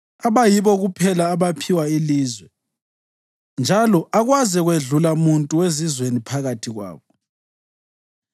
(abayibo kuphela abaphiwa ilizwe njalo akwaze kwedlula muntu wezizweni phakathi kwabo):